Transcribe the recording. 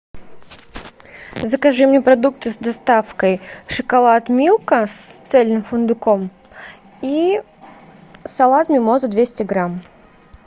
закажи мне продукты с доставкой шоколад милка с цельным фундуком и салат мимоза двести грамм